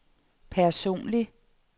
personlig